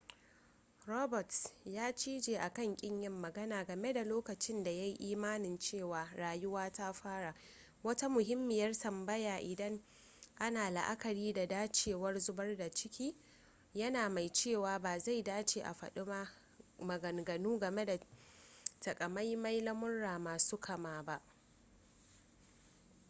roberts ya cije akan kin yin magana game da lokacin da ya yi imanin cewa rayuwa ta fara wata muhimmiyar tambaya idan ana la'akari da dacewar zubar da ciki yana mai cewa ba zai dace a faɗi maganganu game da takamaiman lamurra masu kama ba